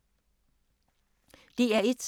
DR1